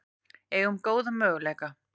Eigum góða möguleika